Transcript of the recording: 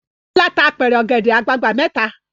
Bọ́lá tá apẹ̀rẹ̀ ọ̀gẹ̀dẹ̀ àgbagbà mẹ́ta.